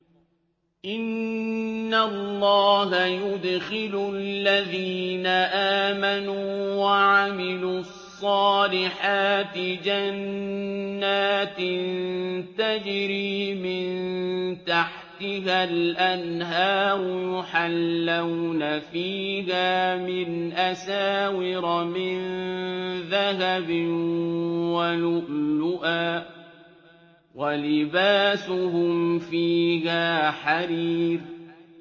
إِنَّ اللَّهَ يُدْخِلُ الَّذِينَ آمَنُوا وَعَمِلُوا الصَّالِحَاتِ جَنَّاتٍ تَجْرِي مِن تَحْتِهَا الْأَنْهَارُ يُحَلَّوْنَ فِيهَا مِنْ أَسَاوِرَ مِن ذَهَبٍ وَلُؤْلُؤًا ۖ وَلِبَاسُهُمْ فِيهَا حَرِيرٌ